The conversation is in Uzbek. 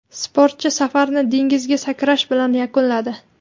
Sportchi safarini dengizga sakrash bilan yakunladi.